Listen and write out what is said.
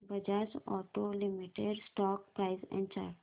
Bajaj auto limited stock price and chart